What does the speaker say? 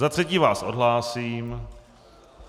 Za třetí vás odhlásím.